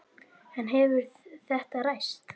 En hefur þetta ræst?